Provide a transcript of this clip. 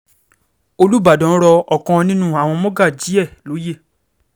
olùbàdàn rọ ọ̀kan nínú àwọn mọ́gàjí ẹ̀ lóye